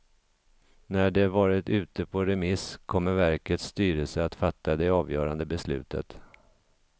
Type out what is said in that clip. När det varit ute på remiss kommer verkets styrelse att fatta det avgörande beslutet.